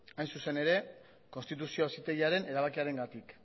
hain zuzen ere konstituzio auzitegiaren erabakiarengatik